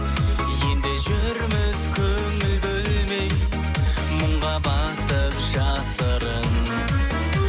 енді жүрміз көңіл бөлмей мұңға батып жасырын